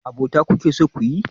Abota kuke so kuyi?